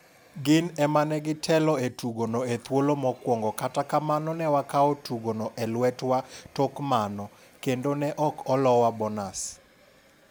Gin emanegi telo e tugono e thuolo mokwongo kata kamano ne wakawo tugo no e lwetwa tok mano, kendo ne ok olowa bonas